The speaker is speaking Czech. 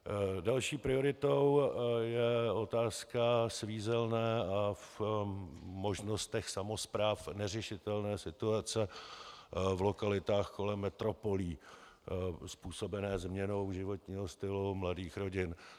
Další prioritou je otázka svízelné a v možnostech samospráv neřešitelné situace v lokalitách kolem metropolí způsobené změnou životního stylu mladých rodin.